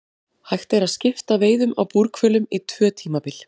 Hægt er að skipta veiðum á búrhvölum í tvö tímabil.